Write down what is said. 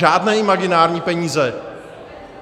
Žádné imaginární peníze.